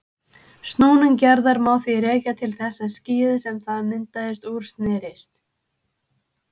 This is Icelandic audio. Snúning jarðar má því rekja til þess að skýið sem það myndaðist úr snerist.